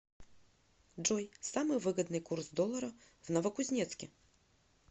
джой самый выгодный курс доллара в новокузнецке